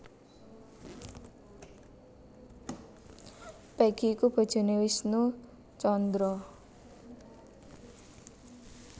Peggy iku bojoné Wisnu Tjandra